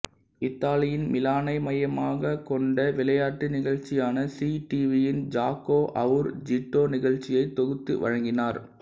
இத்தாலியின் மிலானை மையமாக கொண்ட விளையாட்டு நிகழ்ச்சியான சீ டிவியின் ஜாகோ அவுர் ஜீட்டோ நிகழ்ச்சியை தொகுத்து வழங்கினார்